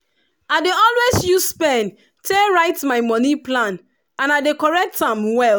i dey always use pen take write my money plan and i dey correct am well.